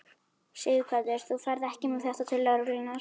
Sighvatur: Þú ferð ekki með þetta til lögreglunnar?